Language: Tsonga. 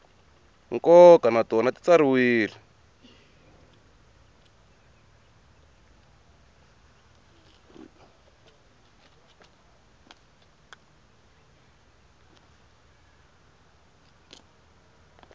nkoka na tona ti tsariwile